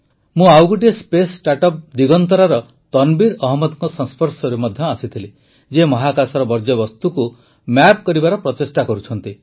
ମୁଁ ଆଉ ଗୋଟିଏ ସ୍ପେସ୍ ଷ୍ଟାର୍ଟଅପ୍ ଦିଗନ୍ତରାର ତନବୀର ଅହମଦଙ୍କ ସଂସ୍ପର୍ଶରେ ମଧ୍ୟ ଆସିଥିଲି ଯିଏ ମହାକାଶର ବର୍ଜ୍ୟବସ୍ତୁକୁ ମ୍ୟାପ କରିବାର ପ୍ରଚେଷ୍ଟା କରୁଛନ୍ତି